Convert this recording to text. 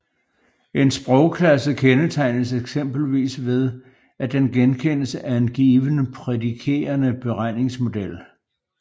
En sprogklasse kendetegnes eksempelvis ved at den genkendes af en given prædikerende beregningsmodel